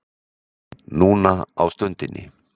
Núna á stundinni